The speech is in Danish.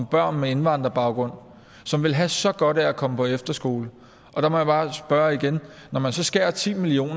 børn med indvandrerbaggrund som ville have så godt af at komme på efterskole og der må jeg bare spørge igen når man skærer ti million